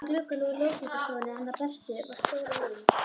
Úti í glugganum á ljósmyndastofunni hennar Bertu var stór mynd.